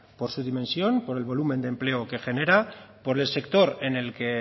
por su dimensión por el volumen de empleo que genera por el sector en el que